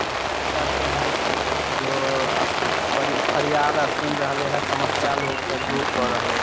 जिला पदाधिकारी बुझाय छै जो अ प अ फरियाद आर सुन रहले है समस्या लोक के दूर क रहले ।